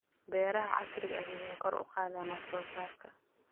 Beeraha casriga ahi waxay kor u qaadaan wax soo saarka.